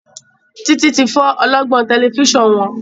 Titi tí fọ ọlọgbọn Tẹlifíṣàn wón.